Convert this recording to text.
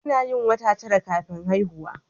Anayin wata tara kafin haihuwa